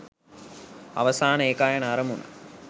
අවසාන ඒකායන අරමුණ